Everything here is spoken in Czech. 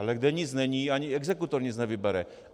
Ale kde nic není, ani exekutor nic nevybere.